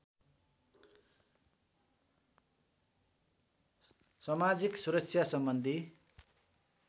समाजिक सुरक्षा सम्बन्धी